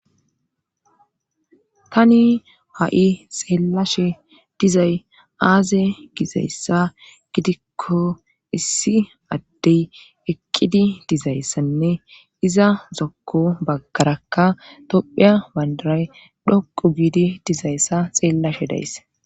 tani ha7i xeellashe dizay aaze gizayssa gidikko issi addey eqqidi dizayssanne iza zokko bakarakka topheya wandaray dhoqu giidi dizayssa xeellashe days